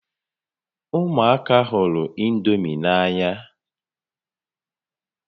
Ụmụaka hụrụ indomi n'anya